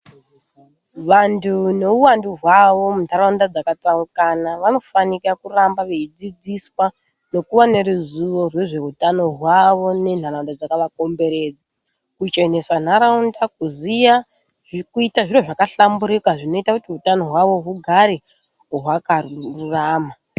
Vantu neuwandu hwavo muntaraunda dzakatsaukana vanofanika kuramba veidzidziswa nekuve neruzivo rwezveutano hwavo nentaraunda dzakavakomberedza kuchenesa ntaraunda kuziya zvekuita zviro zvabahlamburuka zvinoite kuti utano hwavo hugare hwakarurama.